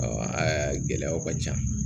gɛlɛyaw ka ca